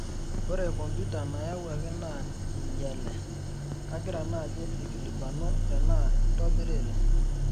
ore computer nayauaki naa einyele, kagira naji aikulikuanu tenaa intobiriri